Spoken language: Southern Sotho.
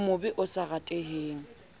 o mobe o sa rateheng